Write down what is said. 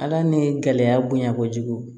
Ala ni gɛlɛya bonya kojugu